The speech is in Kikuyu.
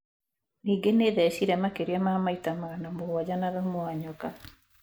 Ningĩ nĩ thecire makĩria ma maita magana mũgwanja na thumu wa nyoka.